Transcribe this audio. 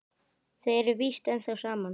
Þau eru víst ennþá saman.